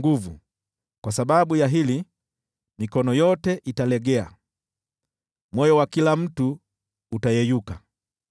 Kwa sababu ya hili, mikono yote italegea, moyo wa kila mtu utayeyuka.